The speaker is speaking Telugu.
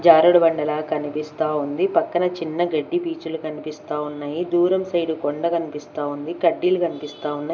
జారుడుబండలా కనిపిస్తా ఉంది పక్కన చిన్న గడ్డి పీచులు కనిపిస్తా ఉన్నాయి దూరం సైడు కొండ కనిపిస్తా ఉంది కడ్డీలు కనిపిస్తా ఉన్నాయ్.